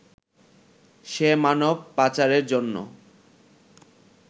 সে মানব পাচারের জন্য